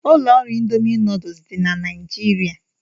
Ụlọ ọrụ Ịndomì nuduls dị na Naijiria.